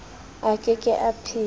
a ke ke a phela